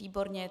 Výborně.